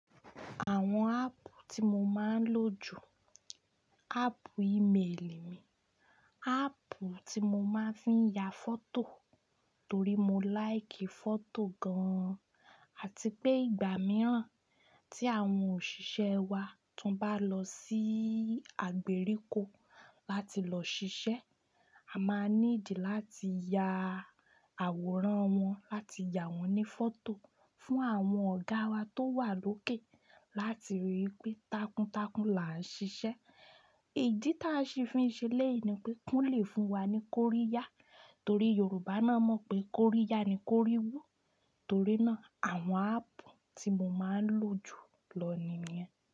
Àwọn áàpù tí mo máa ń lò jù, áàpù ímeèlì mi, áàpù tí mo máa ń fi ya fọ́tò torí mo láìkì fọ́tò gan-an àti pé ìgbà mìíràn tí àwọn òṣìṣẹ́ wa tí wọ́n bá lọ sí àgbèrikò láti lọ ṣiṣẹ́, a máa need láti ya àwòrán wọn, láti ya wọ́n ní fọ́tò fún àwọn ọ̀gá wa tó wà lókè láti rí i pé takuntakun là ń ṣiṣẹ́. Ìdí ta a ṣi fi ń ṣe lẹ́yi ni pé kanlẹ̀ fún wa ní Kóríya torí Yorùbá náà mọ̀ pé Kóríya ni Kóríwú. Torí náà àwọn áàpù tí mo máa ń lò jù lọ ni ìyẹn.